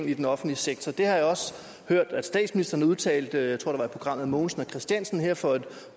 i den offentlige sektor det har jeg også hørt at statsministeren udtalte jeg tror i programmet mogensen og kristiansen her for et